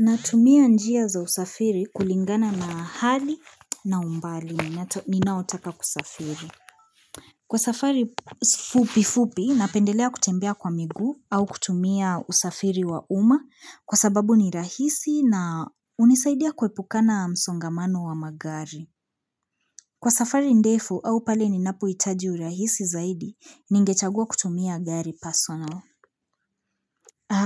Natumia njia za usafiri kulingana na hali na umbali ninaotaka kusafiri. Kwa safari fupi fupi, napendelea kutembea kwa migu au kutumia usafiri wa uma kwa sababu ni rahisi na unisaidia kuepukana msongamano wa magari. Kwa safari ndefu au pale ninapohitaji urahisi zaidi, ningechagua kutumia gari personal.